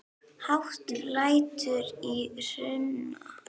Hátt lætur í Hruna